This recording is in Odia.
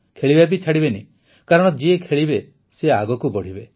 ଖେଳିବା ବି ଛାଡ଼ିବେନି କାରଣ ଯିଏ ଖେଳିବ ସେ ଆଗକୁ ବଢ଼ିବ